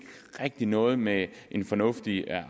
rigtig noget med en fornuftig